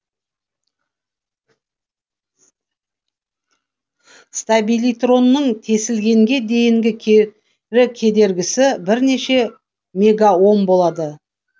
стабилитронның тесілгенге дейінгі кері кедергісі бірнеше мегаом болады